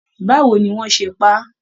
Báwo ní wọn ṣe pá a?